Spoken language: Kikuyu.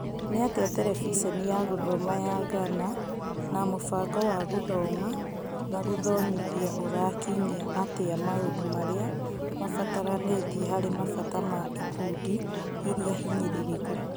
Nĩatĩa Terebiceniya gũthoma ya Gana na mũbango wa gũthoma na gũthomithia ũrakinyia atĩa maũndũ marĩa mabataranĩtie harĩ mabata ma ikundi iria hinyĩrĩrĩku.